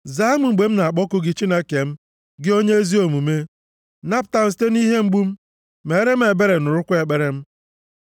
Zaa m mgbe m na-akpọku gị Chineke m, gị onye ezi omume; Napụta m site nʼihe mgbu m, meere m ebere, nụrụkwa ekpere m.